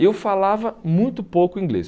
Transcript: Eu falava muito pouco inglês.